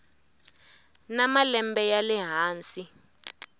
na malembe ya le hansi